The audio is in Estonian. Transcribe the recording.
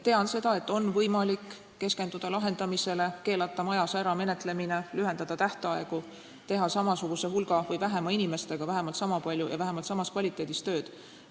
Tean, et on võimalik keskenduda lahendamisele, keelata majas ära menetlemine, lühendada tähtaegu, teha samasuguse või vähema hulga inimestega vähemalt niisama palju ja vähemalt samas kvaliteedis tööd.